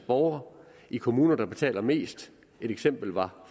borgere i kommuner der betaler mest et eksempel var